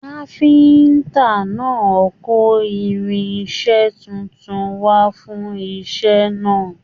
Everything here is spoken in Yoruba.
Káfíntà náà kò irinṣẹ títún wà fún iṣẹ náà.